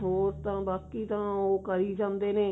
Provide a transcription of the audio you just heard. ਹੋਰ ਤਾਂ ਬਾਕੀ ਉਹ ਕਰੀ ਜਾਂਦੇ ਨੇ